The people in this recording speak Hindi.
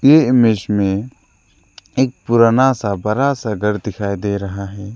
ये इमेज में एक पुराना सा बरा सा घर दिखाई दे रहा है।